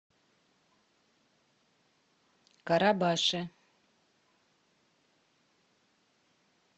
карабаше